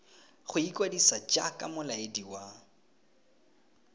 go ikwadisa jaaka molaedi wa